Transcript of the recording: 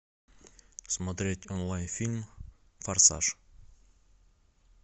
смотреть онлайн фильм форсаж